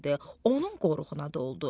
Onun qoruğuna doldu.